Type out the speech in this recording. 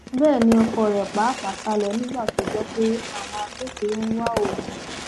bẹẹ ni ọkọ rẹ pàápàá sá lọ nígbà tó gbọ pé àwọn agbófinró ń wá òun